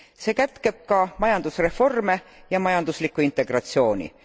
See kätkeb ka majandusreforme ja majanduslikku integratsiooni.